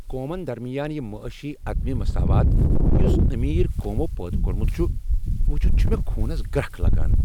قومن درمیان یہ معٲشی عدم مساوات یُس امیر قومو پٲدٕ كورمُت چُھ ، وُچھِتھ چھےٚ مےٚ خونس گرٛكھ لگان ۔